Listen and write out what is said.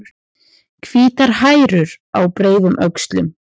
Hvítar hærur á breiðum öxlum.